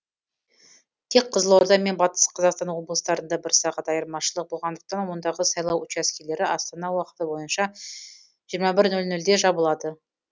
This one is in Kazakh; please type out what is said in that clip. тек қызылорда мен батыс қазақстан облыстарында бір сағат айырмашылық болғандықтан ондағы сайлау учаскелері астана уақыты бойынша жиырма бір нөл нөлде жабылады